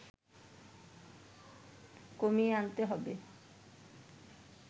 কমিয়ে আনতে হবে